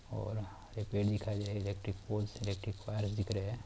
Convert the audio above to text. और हरे पेड़ दिखाई दे रहे इलेक्ट्रिक पोल्स इलेक्ट्रिक वायर्स दिख रहे है। और--